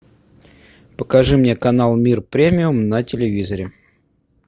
покажи мне канал мир премиум на телевизоре